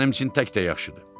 Mənim üçün tək də yaxşıdır.